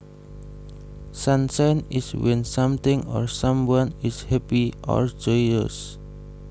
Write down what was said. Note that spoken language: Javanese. Sunshine is when something or someone is happy or joyous